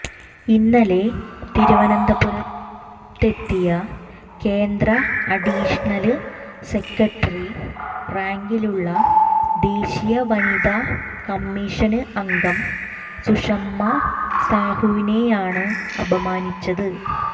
ഇന്നലെ തിരുവനന്തപുര െത്തത്തിയ കേന്ദ്ര അഡീഷണല് സെക്രട്ടറി റാങ്കിലുള്ള ദേശീയ വനിത കമ്മീഷന് അംഗം സുഷമാ സാഹുവിനെയാണ് അപമാനിച്ചത്